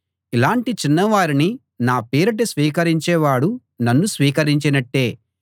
5 ఇలాంటి చిన్నవారిని నా పేరిట స్వీకరించేవాడు నన్ను స్వీకరించినట్టే